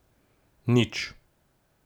Nič.